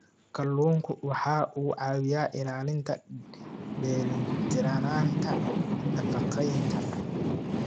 Kalluunku waxa uu caawiyaa ilaalinta dheelitirnaanta nafaqeynta.